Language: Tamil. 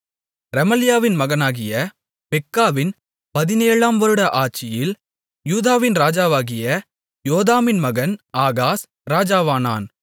ரெமலியாவின் மகனாகிய பெக்காவின் பதினேழாம் வருட ஆட்சியில் யூதாவின் ராஜாவாகிய யோதாமின் மகன் ஆகாஸ் ராஜாவானான்